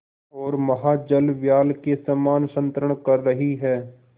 ओर महाजलव्याल के समान संतरण कर रही है